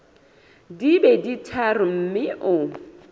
di be tharo mme o